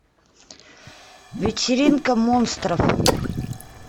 вечеринка монстров